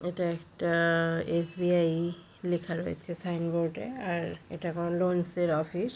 এটা একটা-আ এস.বি.আই লেখা রয়েছে সাইনবোর্ডে আর এটা কোন লোনন্স এর অফিস ।